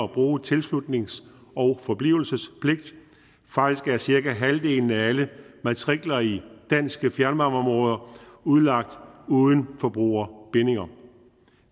bruge tilslutnings og forblivelsespligt faktisk er cirka halvdelen af alle matrikler i danske fjernvarmeområder udlagt uden forbrugerbindinger